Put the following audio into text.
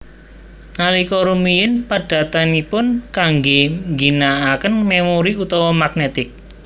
Nalika rumiyin padatanipun kanggé ngginakaken memori utama magnetic